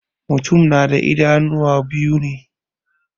Mutum na da idanuwa biyu.